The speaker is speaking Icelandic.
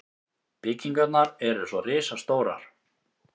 Byggingarnar eru svo risastórar.